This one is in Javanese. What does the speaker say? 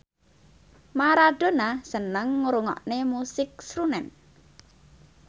Maradona seneng ngrungokne musik srunen